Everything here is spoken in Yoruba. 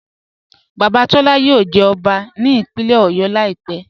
Baba Tọla yóò jẹ́ ọbá ní ìpínlẹ̀ Ọ̀yọ́ laípẹ̀.